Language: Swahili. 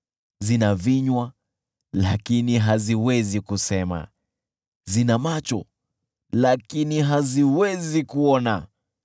Zina vinywa, lakini haziwezi kusema, zina macho, lakini haziwezi kuona;